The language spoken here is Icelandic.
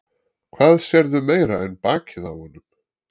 Hvað sérðu meira en bakið á honum?